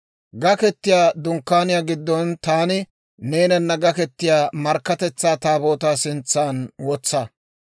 Gaketiyaa Dunkkaaniyaa giddon taani neenana gaketiyaa Markkatetsaa Taabootaa sintsan wotsa.